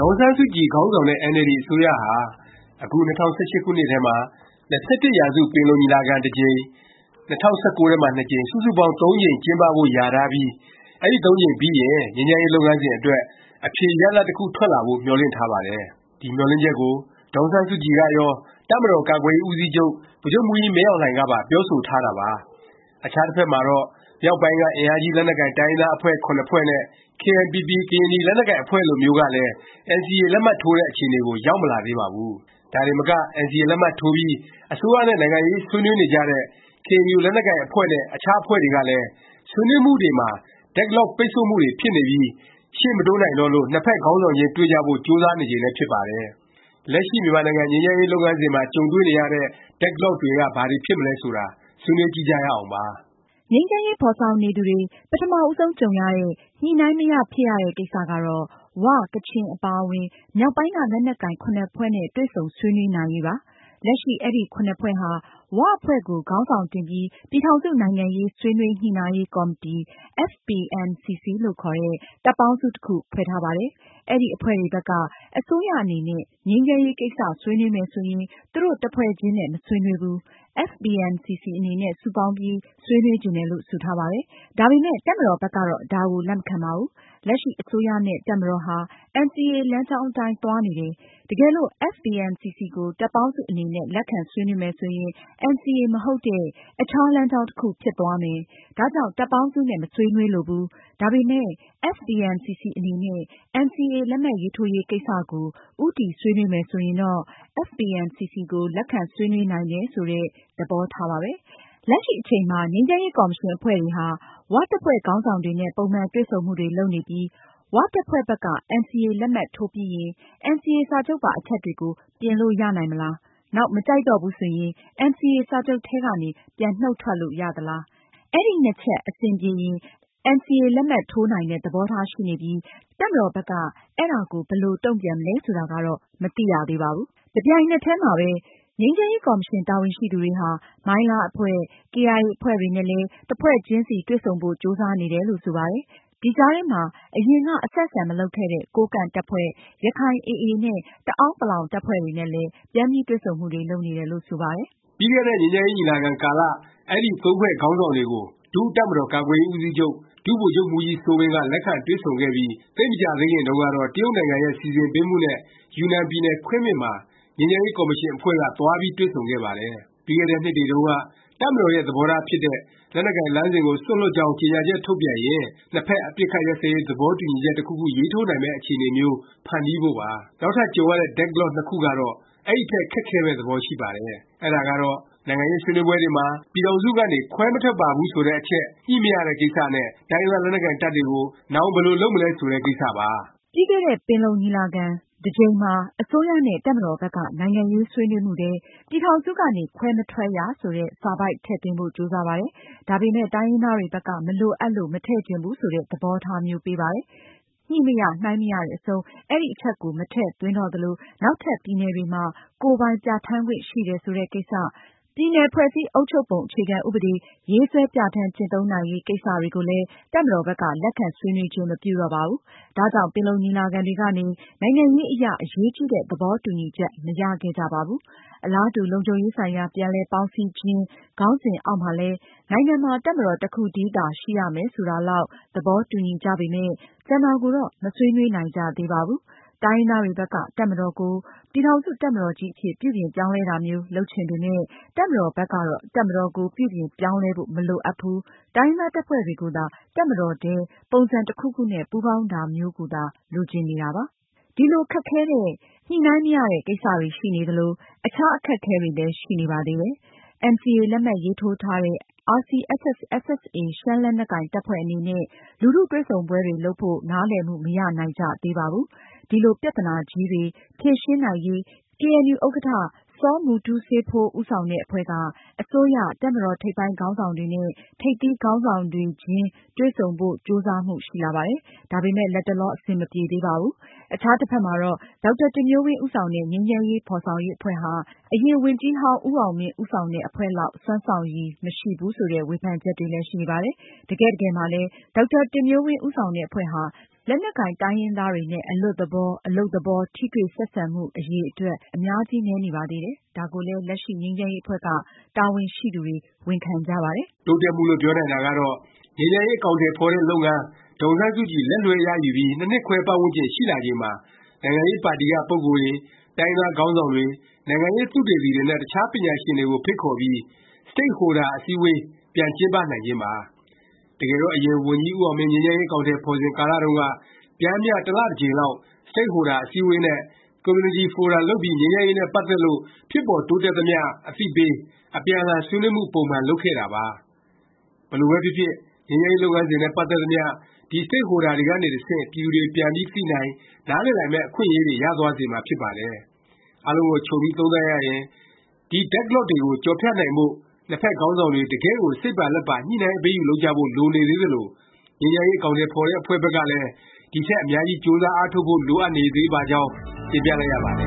င်ဆန်းစုကြည် ခေါင်းဆောင်တဲ့ အင်န်အယ်လ်ဒီ အစိုးရဟာ အခု ၂၀၁၈ ခုနှစ်ထဲမှာ ၂၁ရာစု ပင်လုံညီလာခံ တစ်ကြိမ်၊ ၂၀၁၉ ထဲမှာ ကြိမ် စုစုပေါင်း ၃ ကြိမ်ကျင်းပဖို့ လျာထားပြီး အဲဒီ သုံးကြိမ်ပြီးရင် ငြိမ်းချမ်းရေး လုပ်ငန်းစဉ် အတွက် အဖြေရလာဒ် တစ်ခု ထွက်လာဖို့ မျှော်လင့်ထားပါတယ်။ ဒီမျှော်လင့်ချက်ကို ဒေါ်အောင်ဆန်းစုကြည်ကရော၊ တပ်မတော်ကာကွယ်ရေး ဦးစီးချုပ် ဗိုလ်ချုပ်မှူးကြီးမင်းအောင်လှိုင် ကပါ ပြောဆိုထားတာပါ။ အခြားတစ်ဖက်မှာတော့ မြောက်ပိုင်းက အင်အားကြီး လက်နက်ကိုင် တိုင်းရင်းသား အဖွဲ့ ဖွဲ့နဲ့ KNPP ကရင်နီ လက်နက်ကိုင်အဖွဲ့လိုမျိုးကလည်း NCA လက်မှတ်ထိုးတဲ့ အခြေအနေကို ရောက်မလာသေးပါဘူး။ ဒါတင်မက NCA လက်မှတ်ထိုးပြီး အစိုးရနဲ့ နိုင်ငံရေး ဆွေးနွေးနေကြတဲ့ KNU ကရင်လက်နက်ကိုင် အဖွဲ့နဲ့ အခြားအဖွဲ့တွေကလည်း ဆွေးနွေးမှုတွေမှာ Deadlock, ပိတ်ဆို့မှုတွေ ဖြစ်နေပြီး ရှေ့မတိုးနိုင်တော့လို့ နှစ်ဖက် ခေါင်းဆောင်တွေခြင်း တွေ့ကြဖို့ ကြိုးစားနေချိန်လည်း ဖြစ်ပါတယ်။ လက်ရှိ မြန်မာနိုင်ငံ ငြိမ်းချမ်းရေးလုပ်ငန်းစဉ်မှာ ကြုံတွေ့နေရတဲ့ Deadlock တွေက ဘာတွေ ဖြစ်မလဲ ဆိုတာ ဆွေးနွေးကြည့်ကြရအောင်ပါ။ ငြိမ်းချမ်းရေး ဖော်ဆောင်နေသူတွေ ပထမဦးဆုံးကြုံရတဲ့ Deadlock ကတော့ ဝ၊ ကချင် အပါအဝင် မြောက်ပိုင်းက လက်နက်ကိုင် ဖွဲ့နဲ့ တွေ့ဆုံဆွေးနွေးနိုင်ရေးပါ။ လက်ရှိ အဲဒီ ဖွဲ့ဟာ ၀ အဖွဲ့ကို ခေါင်းဆောင်တင်ပြီး ပြည်ထောင်စု နိုင်ငံရေး ဆွေးနွေး ညှိနှိုင်းရေးကော်မတီ FPNCC လို့ခေါ်တဲ့ တပ်ပေါင်းစု တစ်ခု ဖွဲ့ထားပါတယ်။ အဲဒီ အဖွဲ့တွေဘက်က အစိုးရအနေနဲ့ ငြိမ်းချမ်းရေး ကိစ္စ ဆွေးနွေးမယ် ဆိုရင် သူတို့ တစ်ဖွဲ့ချင်းနဲ့ မဆွေးနွေးဘူး၊ FPNCC အနေနဲ့ စုပေါင်းပြီး ဆွေးနွေးချင်တယ်လို့ ဆိုထားပါတယ်။ ဒါပေမယ့် တပ်မတော်ဘက်ကတော့ ဒါကို လက်မခံပါဘူး။ လက်ရှိ အစိုးရနဲ့ တပ်မတော်ဟာ NCA လမ်းကြောင်းအတိုင်း သွားနေတယ်၊ တကယ်လို့ FPNCC ကို တပ်ပေါင်းစု အနေနဲ့ လက်ခံ ဆွေးနွေးမယ် ဆိုရင် NCA မဟုတ်တဲ့ အခြား လမ်းကြောင်း တစ်ခု ဖြစ်သွားမယ်၊ ဒါကြောင့် တပ်ပေါင်းစုနဲ့ မဆွေးနွေးလိုဘူး၊ ဒါပေမယ့် FPNCC အနေနဲ့ NCA လက်မှတ်ထိုးရေးကိစ္စကို ဦးတည် ဆွေးနွေးမယ် ဆိုရင်တော့ FPNCC ကို လက်ခံဆွေးနွေးနိုင်တယ် ဆိုတဲ့ သဘောထားပါပဲ။ လက်ရှိအချိန်မှာ ငြိမ်းချမ်းရေး ကော်မရှင် အဖွဲ့တွေဟာ ၀ တပ်ဖွဲ့ခေါင်းဆောင်တွေနဲ့ ပုံမှန်တွေ့ဆုံမှုတွေ လုပ်နေပြီး ၀ တပ်ဖွဲ့ဘက်က NCA လက်မှတ်ထိုးပြီးရင် NCA စာချုပ်ပါ အချက်တွေကို ပြင်လို့ ရနိုင်မလား၊ နောက် မကြိုက်တော့ဘူး ဆိုရင် NCA စာချုပ်ထဲကနေ ပြန်နှုတ်ထွက်လို့ ရသလား၊ အဲဒီ ချက် အဆင်ပြေရင် NCA လက်မှတ်ထိုးနိုင်တဲ့ သဘောထား ရှိနေပြီး တပ်မတော်ဘက်က အဲဒါကို ဘယ်လို တုန့်ပြန်မလဲ ဆိုတာကတော့ မသိရသေးပါဘူး။ တစ်ပြိုင်နက်တည်းမှာ ငြိမ်းချမ်းရေး ကော်မရှင် တာဝန်ရှိသူတွေဟာ မိုင်းလား အဖွဲ့၊ ကေအိုင်အေ အဖွဲ့တွေနဲ့လည်း တစ်ဖွဲ့ချင်းစီ တွေ့ဆုံဖို့ ကြိုးစားနေတယ်လို့ ဆိုပါတယ်။ ဒီကြားထဲမှာ အရင်က အဆက်အဆံ မလုပ်ခဲ့တဲ့ ကိုးကန့်တပ်ဖွဲ့၊ ရခိုင် AA နဲ့ တအဲန်းပလောင် တပ်ဖွဲ့တွေနဲ့လည်း ပြန်ပြီး တွေ့ဆုံမှုတွေ လုပ်နေတယ်လို့ ဆိုပါတယ်။ ပြီးခဲ့တဲ့ ငြိမ်းချမ်းရေး ညီလာခံကာလ အဲဒီ သုံးဖွဲ့ ခေါင်းဆောင်တွေကို ဒုတပ်မတော်ကာကွယ်ရေးဦးစီးချုပ် ဒုဗိုလ်ချုပ်မှူးကြီးစိုးဝင်းက လက်ခံတွေ့ဆုံခဲ့ပြီး သိပ်မကြာသေးခင်တုန်းကတော့ တရုတ်နိုင်ငံရဲ့ စီစဉ်ပေးမှုနဲ့ ယူနန်ပြည်နယ် ခွင်းမင်မှာ ငြိမ်းချမ်းရေး ကော်မရှင်အဖွဲ့က သွားပြီး တွေ့ဆုံခဲ့ပါတယ်။ ပြီးခဲ့တဲ့နှစ်တွေတုန်းက တပ်မတော်ရဲ့ သဘောထားဖြစ်တဲ့ လက်နက်ကိုင် လမ်းစဉ်ကို စွန့်လွှတ်ကြောင်း ကြေငြာချက်ထုတ်ပြန်ရင် နှစ်ဖက် အပစ်အခတ် ရပ်စဲရေး သဘောတူညီချက် တစ်ခုခု ရေးထိုးနိုင်မယ့် အခြေအနေမျိုး ဖန်တီးဖို့ပါ။ နောက်ထပ် ကြုံရတဲ့ Deadlock နှစ်ခုကတော့ အဲဒီထက် ခက်ခဲမယ့် သဘောရှိပါတယ်။ အဲဒါကတော့ နိုင်ငံရေးဆွေးနွေးပွဲတွေမှာ ပြည်ထောင်စုကနေ ခွဲမထွက်ပါဘူး ဆိုတဲ့အချက် ညှိမရတဲ့ကိစ္စနဲ့ တိုင်းရင်းသား လက်နက်ကိုင်တပ်တွေကို နောင် ဘယ်လို လုပ်မလဲ ဆိုတဲ့ ကိစ္စပါ။ ပြီးခဲ့တဲ့ ပင်လုံညီလာခံ တစ်ကြိမ်မှာ အစိုးရနဲ့ တပ်မတော်ဘက်က နိုင်ငံရေးဆွေးနွေးမှုထဲ “ ပြည်ထောင်စုကနေ ခွဲမထွက်ရ” ဆိုတဲ့ စာပိုဒ်ထည့်သွင်းဖို့ ကြိုးစားပါတယ်။ ဒါပေမယ့် တိုင်းရင်းသားတွေဘက်က မလိုအပ်လို့ မထည့်ချင်ဘူး ဆိုတဲ့ သဘောထားမျိုးပေးပါတယ်။ ညှိမရ၊နှိုင်းမရတဲ့အဆုံး အဲဒီအချက်ကို မထည့်သွင်းတော့သလို၊ နောက်ထပ် ပြည်နယ်တွေမှာ ကိုယ်ပိုင်ပြဌာန်းခွင့် ရှိတယ် ဆိုတဲ့ကိစ္စ၊ ပြည်နယ် ဖွဲ့စည်းအုပ်ချုပ်ပုံ အခြေခံ ဥပဒေ ရေးဆွဲပြဌာန်း ကျင့်သုံးနိုင်ရေး ကိစ္စတွေကိုလည်း တပ်မတော်ဘက်က လက်ခံဆွေးနွေးခြင်း မပြုတော့ပါဘူး။ ဒါကြောင့် ပင်လုံညီလာခံတွေကနေ နိုင်ငံရေးအရ အရေးကြီးတဲ့ သဘောတူညီချက် မရခဲ့ကြပါဘူး။ အလားတူ “လုံခြုံရေးဆိုင်ရာ ပြန်လည် ပေါင်းစည်းခြင်း” ခေါင်းစဉ်အောက်မှာလည်း နိုင်ငံမှာ တပ်မတော် တစ်ခုတည်းသာ ရှိရမယ် ဆိုတာလောက် သဘောတူညီကြပေမယ့် ကျန်တာကိုတော့ မဆွေးနွေးနိုင်ကြသေးပါဘူး။ တိုင်းရင်းသားတွေဘက်က တပ်မတော်ကို ပြည်ထောင်စု တပ်မတော်ကြီးအဖြစ် ပြုပြင်ပြောင်းလဲတာမျိုး လုပ်ချင်ပေမယ့်၊ တပ်မတော်ဘက်ကတော့ တပ်မတော်ကို ပြုပြင်ပြောင်းလဲဖို့ မလိုအပ်ဘူး၊ တိုင်းရင်းသား တပ်ဖွဲ့တွေကိုသာ တပ်မတော်ထဲ ပုံစံတစ်ခုခုနဲ့ ပူးပေါင်းတာမျိုးကိုသာ လိုချင်နေတာပါ။ ဒီလို ခက်ခဲတဲ့ Deadlock တွေရှိနေသလို အခြား အခက်အခဲတွေလည်း ရှိနေပါသေးတယ်။ NCA လက်မှတ်ရေးထိုးထားတဲ့ RCSS/SSA ရှမ်းလက်နက်ကိုင်တပ်ဖွဲ့ အနေနဲ့ လူထုတွေ့ဆုံပွဲတွေ လုပ်ဖို့ နားလည်မှု မရနိုင်ကြသေးပါဘူး။ ဒီလို ပြသနာကြီးတွေ ဖြေရှင်းနိုင်ရေး ကေအဲန်ယူ ဥက္ကဌ စောမူတူးစေးဖိုး ဦးဆောင်တဲ့ အဖွဲ့က အစိုးရ၊ တပ်မတော် ထိပ်ပိုင်းခေါင်းဆောင်တွေနဲ့ ထိပ်သီးခေါင်းဆောင်တွေချင်း တွေ့ဆုံဖို့ ကြိုးစားမှု ရှိလာပါတယ်။ ဒါပေမယ့် လတ်တလော အဆင်မပြေသေးပါဘူး။ အခြားတစ်ဖက်မှာတော့ ဒေါက်တာတင်မျိုးဝင်း ဦးဆောင်တဲ့ ငြိမ်းချမ်းရေး ဖော်ဆောင်ရေး အဖွဲ့ဟာ အရင် ဝန်ကြီးဟောင်းဦးအောင်မင်း ဦးဆောင်တဲ့ အဖွဲ့လောက် စွမ်းဆောင်ရည် မရှိဘူး ဆိုတဲ့ ဝေဖန်ချက်တွေလည်း ရှိနေပါတယ်။ တကယ့်တကယ်မှာလည်း ဒေါက်တာတင်မျိုးဝင်း ဦးဆောင်တဲ့ အဖွဲ့ဟာ လက်နက်ကိုင် တိုင်းရင်းသားတွေနဲ့ အလွတ်သလော၊ အလုပ်သဘော ထိတွေ့၊ ဆက်ဆံမှု အရည်အတွက် အများကြီးနည်းနေပါတယ်။ ဒါကိုလည်း လက်ရှိ ငြိမ်းချမ်းရေး အဖွဲ့က တာဝန်ရှိသူတွေ ဝန်ခံကြပါတယ်။ တိုးတက်မှုလို့ ပြောနိုင်တာကတော့ ငြိမ်းချမ်းရေး အကောင်အထည်ဖော်တဲ့ လုပ်ငန်း၊ ဒေါ်အောင်ဆန်းစုကြည် လက်လွဲှရယူပြီး ၂နှစ်ခွဲ ပတ်ဝန်းကျင် ရှိလာချိန်မှာ နိုင်ငံရေးပါတီက ပုဂ္ဂိုလ်တွေ၊ တိုင်းရင်းသားခေါင်းဆောင်တွေ၊ နိုင်ငံရေးသုတေသီတွေနဲ့ အခြားပညာရှင်တွေကို ဖိတ်ခေါ်ပြီး Stakeholder အစည်းအဝေး ပြန်ကျင်းပနိုင်ခြင်းပါ။ တကယ်တော့ အရင် ဝန်ကြီးဦးအောင်မင်း ငြိမ်းချမ်းရေး အကောင်အထည် ဖော်စဉ်ကာလတုန်းက ပျမ်းမျှ တစ်လ တစ်ကြိမ်လောက် Stakeholder အစည်းအဝေးနဲ့ ကွန်မြူနတီဖိုရမ် လုပ်ပြီး ငြိမ်းချမ်းရေးနဲ့ ပတ်သက်လို့ ဖြစ်ပေါ်တိုးတက်သမျှ အသိပေး၊ အပြန်အလှန် ဆွေးနွေးမှု ပုံမှန် လုပ်ခဲ့တာပါ။ ဘယ်လိုပဲဖြစ်ဖြစ် ငြိမ်းချမ်းရေး လုပ်ငန်းစဉ်နဲ့ ပတ်သက်သမျှ ဒီ Stakeholder တွေကနေ တဆင့် ပြည်သူတွေ ပြန်ပြီးသိနိုင်၊ နားလည်နိုင်မယ့် အခွင့်အရေး ရသွားစေမှာဖြစ်ပါတယ်။ အားလုံးကို ခြုံပြီး သုံးသပ်ရရင် ဒီ Deadlock တွေကို ကျော်ဖြတ်နိုင်ဖို့၊ နှစ်ဖက် ခေါင်းဆောင်တွေ တကယ့်ကို စိတ်ပါလက်ပါ ညှိနှိုင်း အပေးအယူ လုပ်ကြဖို့ လိုနေသေးသလို၊ ငြိမ်းချမ်းရေး အကောင်အထည် ဖော်တဲ့အဖွဲ့ဘက်ကလည်း ဒီထက် အများကြီး ကြိုးစား အားထုတ်ဖို့ လိုအပ်နေပါသေးကြောင်း တင်ပြလိုက်ရပါတယ်